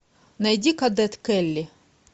найди кадет келли